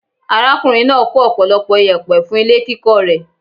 Arákùnrin náà kó ọ̀pọ̀lọpọ̀ iyẹ̀pẹ̀ fún ilé kíkọ́ rẹ̀.